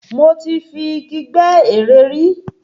Mo ti fi Igi gbẹ́ eré rí.